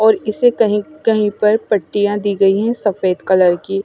और इसे कही कही पर पट्टिया दी गयी है सफ़ेद कलर की --